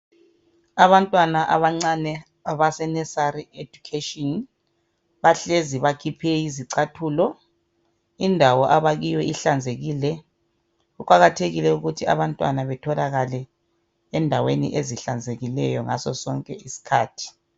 Abantwana abancane abaseNursery education bahlezi bakhiphe izicathulo indawo abakiyo ihlanzekile kuqakathekile ukuthi abantwana betholakale endaweni ezihlanzekileyo ngaso sonke isikhathi.